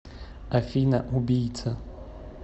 афина убийца